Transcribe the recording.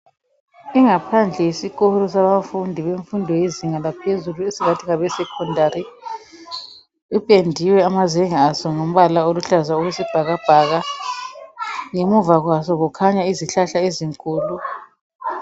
Ingaphandle yesikolo sabafundi bezinga laphezulu esingathi ngabesecondary ipendiwe amazenge aso ngombala oluhlaza okwesibhakabhaka ngemuva kwaso kukhanya izihlahla ezinkulu.